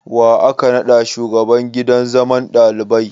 Wa aka naɗa shugaban gidan zaman ɗalibai?